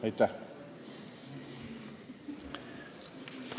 Aitäh!